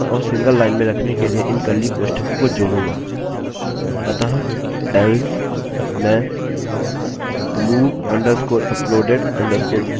अतः else मैं move_uploaded_file नामक फंक्शन का उपयोग करना चाहता हूँ